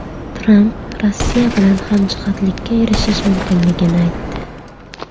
Tramp Rossiya bilan hamjihatlikka erishish mumkinligini aytdi.